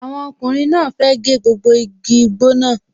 Àwọn ọkùnrin náà fẹ́ gé gbogbo igi igbó náà